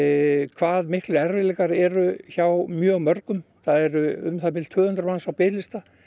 hvað miklir erfiðleikar eru hjá mjög mörgum það eru um það bil tvö hundruð manns á biðlista